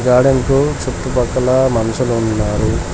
Garden కు చుట్టుపక్కల మనుషులు ఉన్నారు.